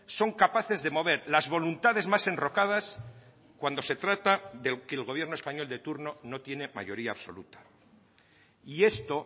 son capaces de mover las voluntades más enrocadas cuando se trata de que el gobierno español de turno no tiene mayoría absoluta y esto